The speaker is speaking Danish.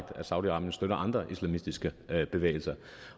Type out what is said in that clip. at saudi arabien støtter andre islamistiske bevægelser